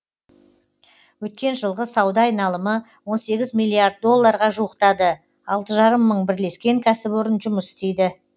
өткен жылғы сауда айналымы он сегіз миллиард долларға жуықтады алты жарым мың бірлескен кәсіпорын жұмыс істейді